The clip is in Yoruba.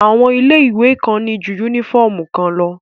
Àwọn ilé ìwé kan ní ju yúnífọ̀mù kan lọ